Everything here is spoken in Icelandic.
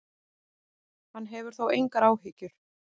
Hann hefur þó engar áhyggjur.